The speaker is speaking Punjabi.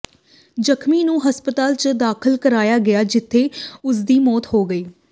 ਜ਼ਖਮੀ ਨੂੰ ਹਸਪਤਾਲ ਚ ਦਾਖਲ ਕਰਾਇਆ ਗਿਆ ਜਿਥੇ ਉਸਦੀ ਮੌਤ ਹੋ ਗਈ